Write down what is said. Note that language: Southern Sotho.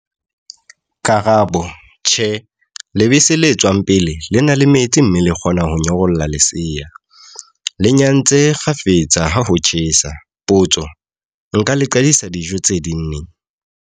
Karabo- Tjhe, lebese le tswang pele, le na le metsi mme le kgona ho nyorolla lesea. Le nyantse kgafetsa ha ho tjhesa. Potso- Nka le qadisa dijo tse ding neng?